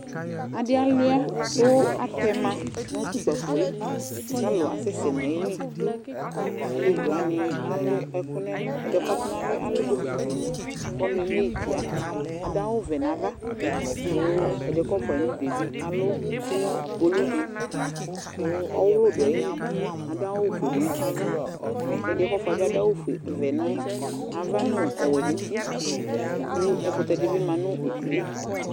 Adɩ alʋɩa kʋ atɛma nʋ tʋ ʋkpafo yɛ kʋ alʋ asɛsɛ nʋ ayili Alevi wanɩ alʋ ɛkʋ nʋ ɛlʋ Ɛdɩ yɛ kʋ ɔtɔnalɔ yɛ alʋ bokiti kʋ ɔnʋ eme yɩ tɩa Adʋ awʋ vɛ nʋ ava kʋ ɛ dɩ yɛ kʋ ɔfʋa yɩ nʋ udu yɛ bɩ alʋ kpolu dɩ ɔwɔlʋ dʋ ayili Adʋ awʋfue nʋ ava kʋ ɛdɩ kʋ ɔfʋa yɛ bɩ adʋ awʋvɛ nʋ ava nʋ ɔwɛ nʋ uti kʋ ɛkʋtɛ dɩ bɩ ma nʋ udu yɛ